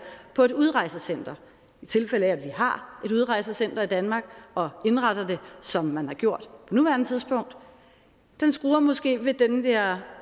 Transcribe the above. på et udrejsecenter i tilfælde af at vi har et udrejsecenter i danmark og indretter det som man har gjort på nuværende tidspunkt skruer måske ved den der